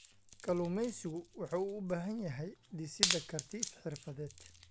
Kalluumeysigu wuxuu u baahan yahay dhisidda karti xirfadeed.